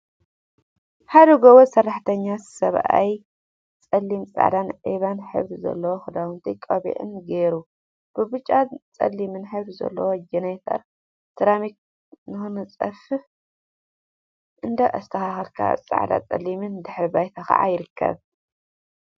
ሓደ ጎበዝ ሰራሕተኛ ሰብአይ ፀሊም፣ ፃዕዳን ዒባን ሕብሪ ዘለዎም ክዳውንቲን ቆቢዕን ገይሩ ብብጫን ፀሊምን ሕብሪ ዘለዋ ጀነሬተር ሰራሚክ ንከንፅፍ እንዳአስተካከለ አብ ፃዕዳንፀሊምን ድሕረ ባይታ ከዓ ይርከብ፡፡